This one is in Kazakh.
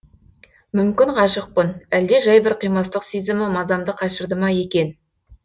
мүмкін ғашықпын әлде жай бір қимастық сезімі мазамды қашырды ма екен